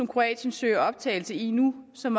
kroatien søger optagelse i nu som